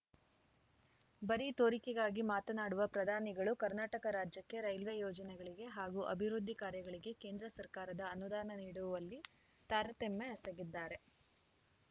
ಬರೀ ತೋರಿಕೆಗಾಗಿ ಮಾತನಾಡುವ ಪ್ರಧಾನಿಗಳು ಕರ್ನಾಟಕ ರಾಜ್ಯಕ್ಕೆ ರೈಲ್ವೆ ಯೋಜನೆಗಳಿಗೆ ಹಾಗೂ ಅಭಿವೃದ್ಧಿ ಕಾರ್ಯಗಳಿಗೆ ಕೇಂದ್ರ ಸರ್ಕಾರದ ಅನುದಾನ ನೀಡುವಲ್ಲಿ ತಾರತಮ್ಯ ಎಸಗಿದ್ದಾರೆ